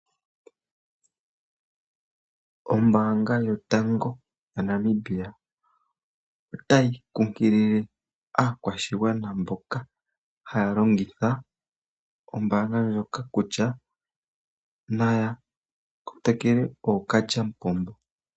Ombaanga yotango yaNamibia otayi nkunkilile aakwashigwana mboka haya longitha ombaanga ndjoka kutya naya kotokele ookalyamupombo.